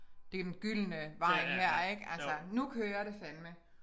Den gyldne vej her ik altså nu kører det fandme